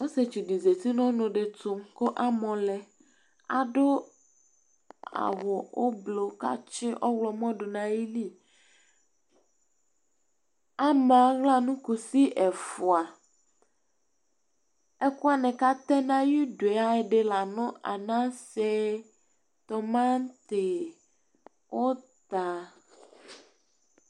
Ɔsitsu di zatinu ɔnu ɛditu ku amu lɛ Adu awu ublu ka tsi awlɔ mɔ du nu ayili Ama aɣla nu kusi ɛfua, ɛkuwani katɛ na ayi dué ɛdi la nu anasé, tomati, uta